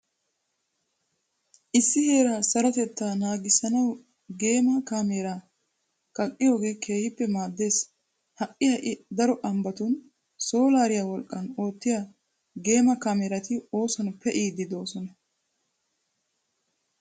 Issi heeraa sarotettaa naagissanawu geema kaameeraa kaqqiyogee keehippe maaddees. Ha"i ha"i daro ambbatun soolaariya wolqqan oottiya geema kaameeerati oosuwan pe'iiddi de'oosona.